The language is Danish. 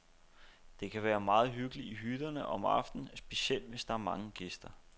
Der kan være meget hyggeligt i hytterne om aftenen, specielt hvis der er mange gæster.